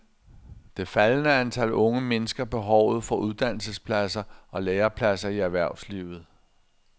Det faldende antal unge mindsker behovet for uddannelsespladser og lærepladser i erhvervslivet.